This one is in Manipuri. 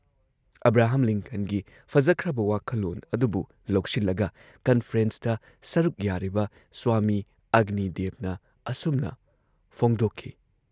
ꯑꯕ꯭ꯔꯥꯍꯝ ꯂꯤꯟꯀꯟꯒꯤ ꯐꯖꯈ꯭ꯔꯕ ꯋꯥꯈꯜꯂꯣꯟ ꯑꯗꯨꯕꯨ ꯂꯧꯁꯤꯜꯂꯒ ꯀꯟꯐ꯭ꯔꯦꯟꯁꯇ ꯁꯔꯨꯛ ꯌꯥꯔꯤꯕ ꯁ꯭ꯋꯥꯃꯤ ꯑꯒꯅꯤꯗꯦꯕꯅ ꯑꯁꯨꯝꯅ ꯐꯣꯡꯗꯣꯛꯈꯤ‑